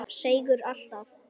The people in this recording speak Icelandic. Seigur alltaf.